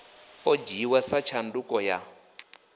ḓo dzhiiwa sa tshanduko ya